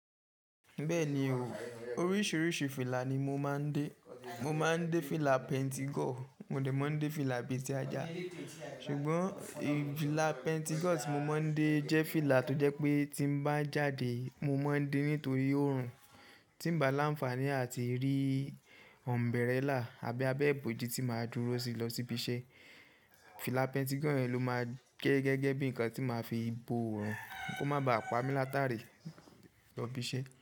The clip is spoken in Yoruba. Bẹ́ẹ̀ni o, oríṣiríṣi fìlà ni mo máa ń dé. Mo máa ń dé fìlà pentigo, mo dè máa ń dé fìlà abeti ajá. Ṣùgbọ́n fìlà pentigo tí mo máa ń dé jẹ́ fìlà tó jẹ́ pé tí mo bá jáde, mo máa ń dé nítorí oòrùn, tí ń ba lá ń fàní a ti rí umbrella àbí abẹ́ ìbòji tí màá dúró sí lọ síbi iṣẹ́. Fìlà pentigo yẹn ló máa gẹ gẹ́gẹ́ bí nǹkan tí màá fi bo oòrùn kó má ba à pa mí látàrí lọ ibi iṣẹ́